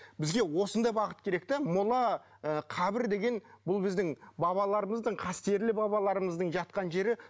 бізге осындай бағыт керек те мола ы қабір деген бұл біздің бабаларымыздың қастерлі бабаларымыздың жатқан жері